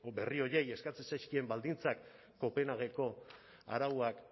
berri horiei eskatzen zaizkien baldintzak kopenhageko arauak